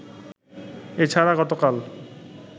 এ ছাড়া গতকাল